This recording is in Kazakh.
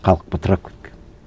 халық бытырап